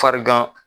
Farigan